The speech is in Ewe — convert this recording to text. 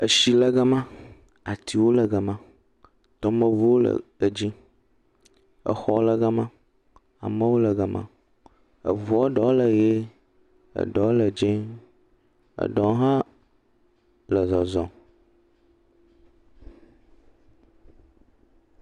Tsi le gema, atiwo le gema. Tomeŋuwo le edzi. Xɔwo le gema, amewo le gema. Ŋua ɖewo le ʋie, ɖewo le dzɛ̃. Ɖewo hã le zɔzɔm.